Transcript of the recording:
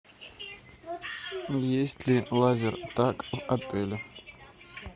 есть ли лазертаг в отеле